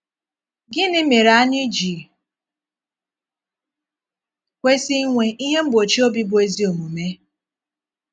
Gịnị mére ànyị ji kwesị inwe “ ihe mgbòchí obi bụ́ ezí omume ”?